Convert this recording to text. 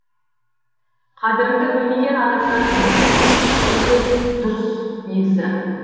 қадіріңді білмеген адамнан дер кезінде кеткенде де дұрыс негізі